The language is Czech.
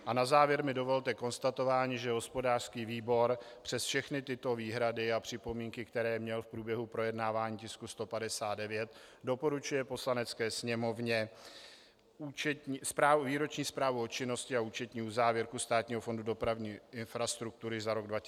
A na závěr mi dovolte konstatování, že hospodářský výbor přes všechny tyto výhrady a připomínky, které měl v průběhu projednávání tisku 159, doporučuje Poslanecké sněmovně Výroční zprávu o činnosti a účetní závěrku Státního fondu dopravní infrastruktury za rok 2013 schválit.